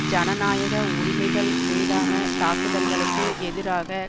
ஜனநாயக உரிமைகள் மீதான தாக்குதல்களுக்கு எதிராக